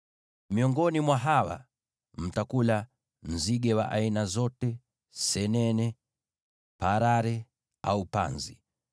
Miongoni mwa hawa, mtakula nzige wa aina zote, senene, parare au panzi.